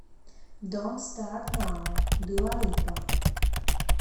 донт старт нау дуа липа